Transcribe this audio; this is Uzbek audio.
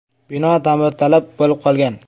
Bino ta’mirtalab bo‘lib qolgan.